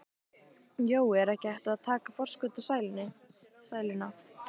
Jói, er ekki hægt að taka forskot á sæluna?